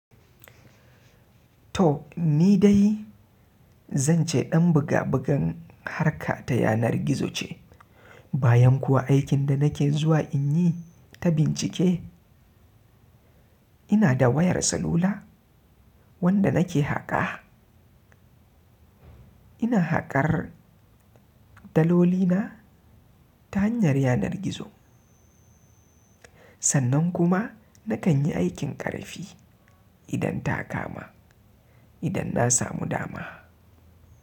To ni dai zan ce ɗan buga bugan harka ta yanar gizo ce, bayan kuwa aikin da nake zuwa in yi ta bincike ina da wayar salula wanda nake haƙa. Ina haƙar daloli na ta hanyar yanar gizo. Sannan kuma nakan yi aikin ƙarfi idan ta kama, idan na samu dama.